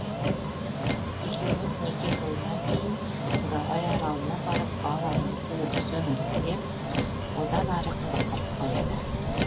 екеуіміз неке тойынан кейін гавай аралына барып бал айымызды өткіземіз деп одан ары қызықтырып қояды